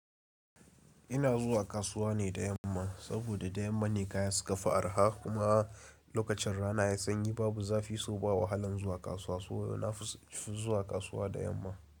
Ina zuwa kasuwa ne da yamma saboda da yamma ne kaya suka fi arha kuma lokacin rana ya sanyi babu zafi so ba wahalan zuwa kasuwa. So na fi zuwa kasuwa da yamma.